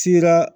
Sera